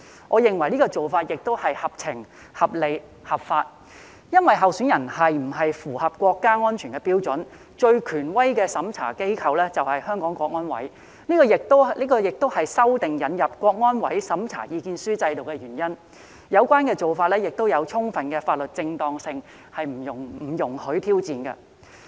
我認為這做法合情、合理、合法，因為候選人是否符合國家安全的標準，最權威的審查機構便是香港國安委，這亦是修訂引入國安委審查意見書制度的原因，有關做法具充分的法律正當性，不容挑戰。